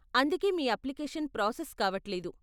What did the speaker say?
అందుకే మీ application process కావట్లేదు .